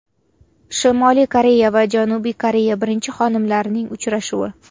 Shimoliy Koreya va Janubiy Koreya birinchi xonimlarining uchrashuvi .